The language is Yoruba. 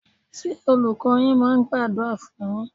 Ṣé Olùkọ́ọ yín máa ń gbàdúrà fún un yín?